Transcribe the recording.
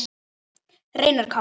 Reynar Kári.